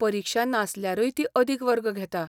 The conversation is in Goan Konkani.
परीक्षा नासल्यारूय ती अदिक वर्ग घेता.